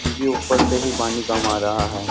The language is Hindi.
क्योंकि ऊपर से ही पानी कम आ रहा है।